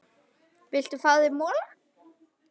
Viltu ekki fá þér mola?